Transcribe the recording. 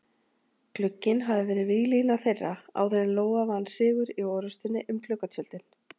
Glugginn hafði verið víglína þeirra áður en Lóa vann sigur í orrustunni um gluggatjöldin.